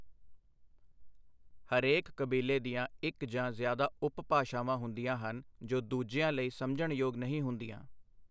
ਹਰੇਕ ਕਬੀਲੇ ਦੀਆਂ ਇੱਕ ਜਾਂ ਜ਼ਿਆਦਾ ਉਪ ਭਾਸ਼ਾਵਾਂ ਹੁੰਦੀਆਂ ਹਨ ਜੋ ਦੂਜਿਆਂ ਲਈ ਸਮਝਣਯੋਗ ਨਹੀਂ ਹੁੰਦੀਆਂ।